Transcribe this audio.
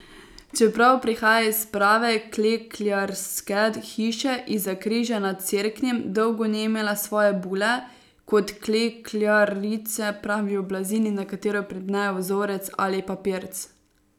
Čeprav prihaja iz prave klekljarske hiše iz Zakriža nad Cerknim, dolgo ni imela svoje bule, kot klekljarice pravijo blazini, na katero pripnejo vzorec ali papirc.